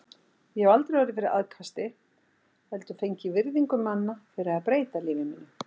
Ég hef aldrei orðið fyrir aðkasti, heldur fengið virðingu manna fyrir að breyta lífi mínu.